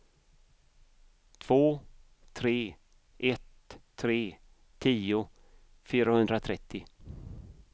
två tre ett tre tio fyrahundratrettio